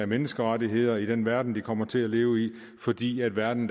menneskerettigheder i den verden de kommer til at leve i fordi verden